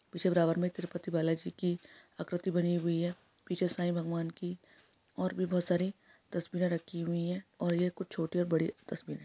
पीछे बराबर मे तिरुपति बालाजी की आकृति बनी हुई है पीछे ईसाई भगवान की और भी बहुत सारी तस्वीरें राखी हुई है और ये कुछ छोटी और बड़ी तस्वीर--